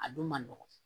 A don man nɔgɔn